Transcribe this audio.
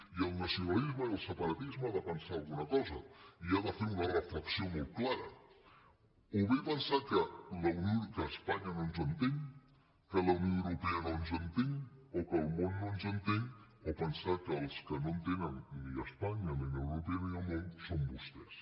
i el nacionalisme i el separatisme han de pensar alguna cosa i han de fer una reflexió molt clara o bé pensar que espanya no ens entén que la unió europea no ens entén o que el món no ens entén o pensar que els que no entenen ni espanya ni la unió europea ni el món són vostès